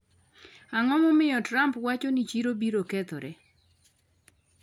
Ang’o momiyo Trump wacho ni chiro biro kethore?